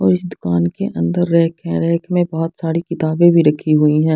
और उस दुकान के अंदर रैक है रैक में बहोत सारी किताबे भी रखी हुई हैॆं।